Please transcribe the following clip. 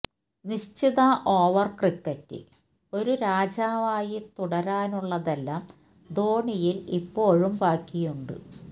നിശ്ചിത ഓവര് ക്രിക്കറ്റില് ഒരു രാജാവായി തുടരാനുള്ളതെല്ലാം ധോണിയില് ഇപ്പോഴും ബാക്കിയുണ്ട്